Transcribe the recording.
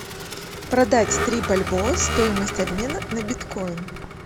продать три бальбоа стоимость обмена на биткоин